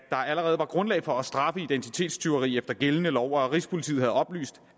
allerede er grundlag for at straffe identitetstyverier efter gældende lov og at rigspolitiet har oplyst